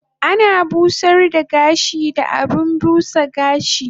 Ana busar da gashi da abun busa gashi